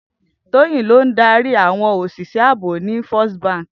Toyin ló n dàrí áwòn óṣiṣè àbó ni Fèstí bànkí